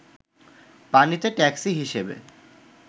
পানিতে ট্যাক্সি হিসেবে